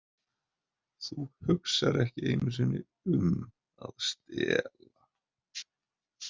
Það hugsar ekki einu sinni um að stela.